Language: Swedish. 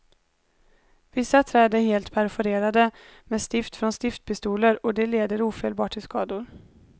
Vissa träd är helt perforerade med stift från stiftpistoler, och det leder ofelbart till skador.